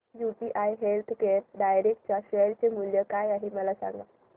UTI healthcare direct च्या share चे मूल्य काय आहे मला सांगा